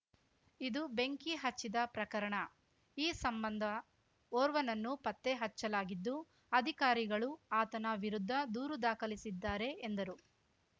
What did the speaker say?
ಇದು ಬೆಂಕಿ ಹಚ್ಚಿದ ಪ್ರಕರಣ ಈ ಸಂಬಂಧ ಓರ್ವನನ್ನು ಪತ್ತೆ ಹಚ್ಚಲಾಗಿದ್ದು ಅಧಿಕಾರಿಗಳು ಆತನ ವಿರುದ್ಧ ದೂರು ದಾಖಲಿಸಿದ್ದಾರೆ ಎಂದರು